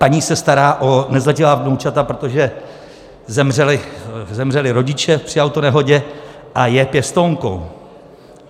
Paní se stará o nezletilá vnoučata, protože zemřeli rodiče při autonehodě a je pěstounkou.